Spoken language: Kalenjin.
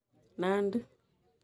Nandi